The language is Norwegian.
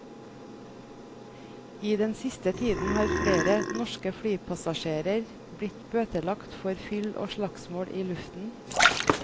I den siste tiden har flere norske flypassasjerer blitt bøtelagt for fyll og slagsmål i luften.